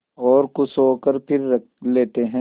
और खुश होकर फिर रख लेते हैं